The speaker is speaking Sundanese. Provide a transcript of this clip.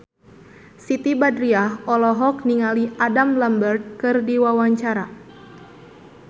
Siti Badriah olohok ningali Adam Lambert keur diwawancara